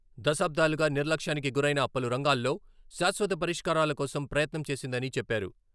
దశాబ్దాలుగా నిర్లక్ష్యానికి గురైన పలు రంగాల్లో శాశ్వత పరిష్కారాల కోసం ప్రయత్నం చేసిందని చెప్పారు.